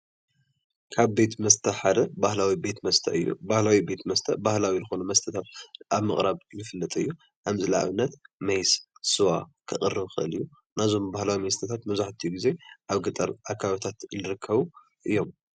ካብ ቤት መስተ ሓደ ባህላዊ ቤት መስተ እዩ፡፡ ባህላዊ ቤት መስተ ባህላዊ ዝኾኑ መስተታት ኣብ ምቅራብ ዝፍለጥ እዩ፡፡ ከም ንኣብነት ሚየስ፣ ስዋ ክቀርብ ይኽእል እዩ፡፡ ናይዞም ባህላዊ መስተታት መብዛሕትኡ ግዜ ኣብ ገጠር ኣካባቢታት ዝርከቡ እዮም፡፡